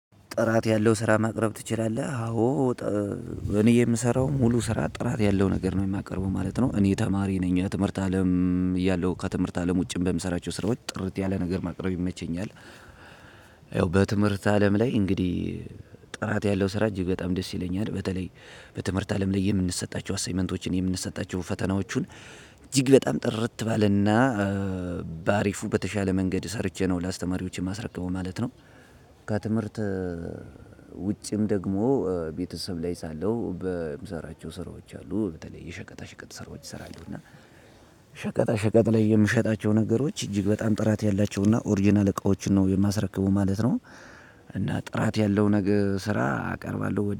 ጥራት ያለው ስራ ማቅረብ ትችላለህ? አዎ እኔ የምሰራው ሙሉ ስራ ጥራት ያለው ነገር ነው የማቀርበው ማለት ነው። እኔ ተማሪ ነኝ የትምህርት አለም እያለሁ ከትምህርት አለም ውጪም በምሰራቸው ስራዎች ጥርት ያለ ነገር ማቅረብ ይመቸኛል። ያው በትምህርት አለም ላይ እንግዲህ ጥራት ያለው ስራ እጅግ በጣም ደስ ይለኛል። በተለይ በትምህርት አለም ላይ የምንሰጣቸው አሳይመንቶችን የምንሰጣቸው ፈተናዎቹን። እጅግ በጣም ጥርት ባለና በአሪፉ በተሻለ መንገድ ሰርቼ ነው ላስተማሪዎቼ የማስረክበው ማለት ነው። ከትምህርት ውጭም ደግሞ ቤተሰብ ላይ ሳለሁ በምሰራቸው ስራዎች አሉ በተለይ የሸቀጣ ሸቀጥ ስራዎች እሰራለው። እና ሸቀጣ ሸቀጥ ላይ የምሸጣቸው ነገሮች እጅግ በጣም ጥራት ያላቸው እና ኦሪጅናል እቃዎችን ነው የማስረክበው ማለት ነው። እና ጥራት ያለው ነገር ስራ አቀርባለሁ